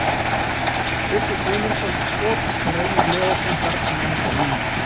Tryggvi Guðmundsson á skot og Reynir Leósson bjargar nánast á línu.